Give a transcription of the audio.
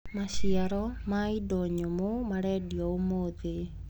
Maciaro ma indo nyũmũ marendio ũmũthĩ.